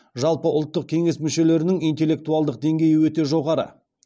жалпы ұлттық кеңес мүшелерінің интеллектуалдық деңгейі өте жоғары